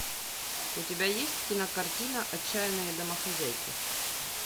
у тебя есть кинокартина отчаянные домохозяйки